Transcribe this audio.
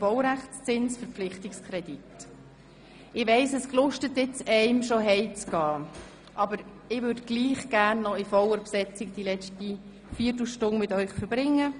Dennoch würde ich gerne die letzte Viertelstunde in voller Besetzung mit Ihnen verbringen.